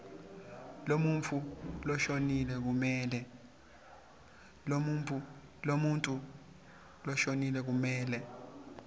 lemuntfu loshonile kumele